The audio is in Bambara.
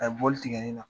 A ye bɔli tigɛ nin na